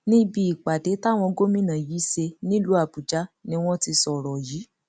níbi ìpàdé táwọn gómìnà yìí ṣe nílùú àbújá ni wọn ti sọrọ yìí